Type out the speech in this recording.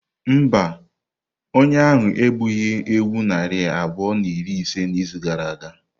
Mba, onye ahụ egbughị ewu narị abụọ na iri ise n'izu gara aga.